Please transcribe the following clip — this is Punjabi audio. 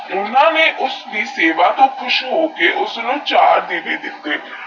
ਉੱਨਾ ਨੇਈ ਯੂਐਸਐਸ ਦਿਹ ਸੇਵਾ ਤੋਹ ਖੁਸ ਹੋਕ ਉਸਨੂ ਚਾਰ ਦੀਵੇ ਦਿਤੇਹ